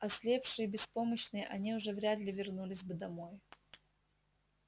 ослепшие и беспомощные они уже вряд ли вернулись бы домой